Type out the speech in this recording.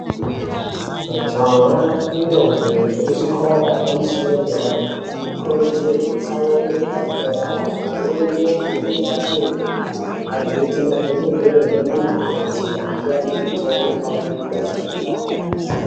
Majaha nendombi dzekuzvikora yepamusoro zvepadera dera vanokuridzirwe kutsamwire pafundo yavo amweni agone mabasa enyara agoita madhokodheya ana mukoti agopa vanhu mitombo panwe nekudetsera nharaunda.